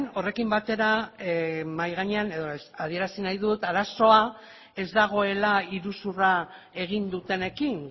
horrekin batera mahai gainean edo adierazi nahi dut arazoa ez dagoela iruzurra egin dutenekin